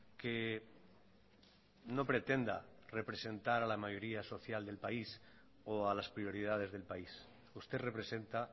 que no pretenda representar a la mayoría social del país o a las prioridades del país usted representa